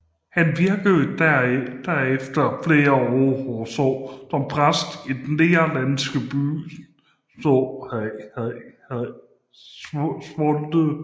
Han virkede derefter flere år som præst i den nederlandsky by Zwolle